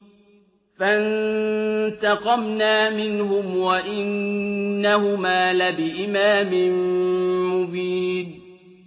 فَانتَقَمْنَا مِنْهُمْ وَإِنَّهُمَا لَبِإِمَامٍ مُّبِينٍ